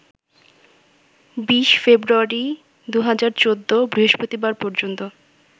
২০ ফেব্রুয়ারি ২০১৪ বৃহস্পতিবার পর্যন্ত